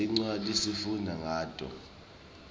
tincwadzi sifundza ngato